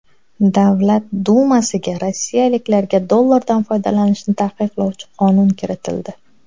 Davlat dumasiga rossiyaliklarga dollardan foydalanishni taqiqlovchi qonun kiritildi.